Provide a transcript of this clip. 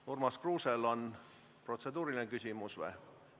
Kas Urmas Kruusel on protseduuriline küsimus?